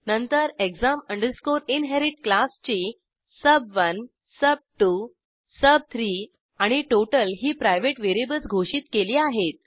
नंतर exam inherit क्लासची सुब1 सुब2 सुब3 आणि टोटल ही प्रायव्हेट व्हेरिएबल्स घोषित केली आहेत